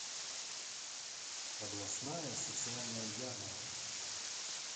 областная социальная ярмарка